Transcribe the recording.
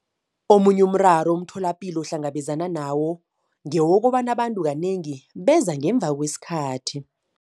Omunye umraro umtholapilo ohlangabezana nawo ngewokobana abantu kanengi beza ngemva kwesikhathi.